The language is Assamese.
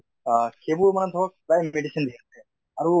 আহ সেইবোৰ মানে ধৰক প্ৰায় medicine দিয়ে আৰু